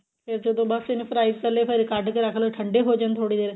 ਫਿਰ ਜਦੋਂ ਬੱਸ ਇਹਨੇ fry ਕਰਲੇ ਫਿਰ ਕੱਢ ਕੇ ਰੱਖਲੋ ਠੰਡੇ ਹੋਈ ਜਾਣ ਥੋੜੀ ਦੇਰ